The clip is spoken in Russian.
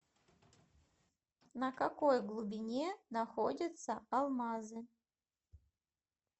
на какой глубине находятся алмазы